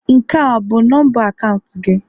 Nke a bụ nọmba akaụntụ gị?